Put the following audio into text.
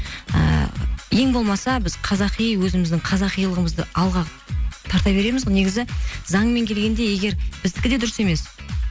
ііі ең болмаса біз қазақи өзіміздің қазақилығымызды алға тарта береміз ғой негізі заңмен келгенде егер біздікі де дұрыс емес